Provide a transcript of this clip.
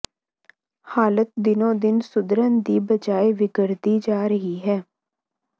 ਹਾਲਤ ਦਿਨੋ ਦਿਨ ਸੁਧਰਨ ਦੀ ਬਜਾਏ ਵਿਗੜਦੀ ਜਾ ਰਹੀ ਹੈ